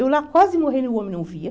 Eu lá, quase morrendo, o homem não via.